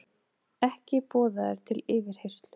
Ekki boðaður til yfirheyrslu